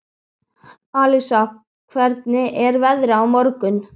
Alísa, hvernig er veðrið á morgun?